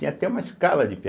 Tem até uma escala de pêa.